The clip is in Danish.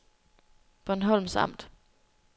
Bornholms Amt